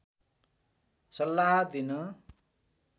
सल्लाह दिन